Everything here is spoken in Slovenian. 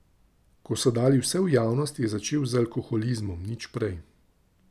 Ko so dali vse v javnost je začel z alkoholizmom nič prej.